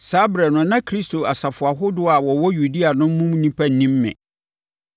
Saa ɛberɛ no na Kristo asafo ahodoɔ a wɔwɔ Yudea no mu nnipa nnim me.